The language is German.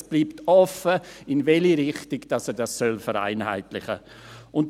Es bleibt offen, in welche Richtung er dies vereinheitlichen soll.